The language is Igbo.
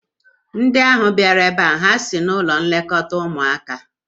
Ndị ahụ bịara ebe a ha si n'ụlọ nlekọta ụmụaka?